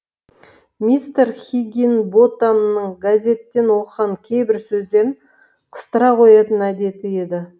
мистер хиггинботамның газеттен оқыған кейбір сөздерін қыстыра қоятын әдеті еді